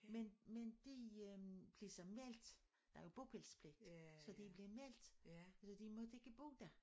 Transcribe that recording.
Men men de øh blev så meldt der jo bopælspligt så de blev meldt så de måtte ikke bo der